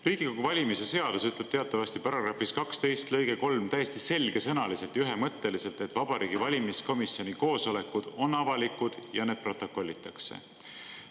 Riigikogu valimise seadus ütleb teatavasti §-s 12 lõkes 3 täiesti selgesõnaliselt ja ühemõtteliselt, et Vabariigi Valimiskomisjoni koosolekud on avalikud ja need protokollitakse.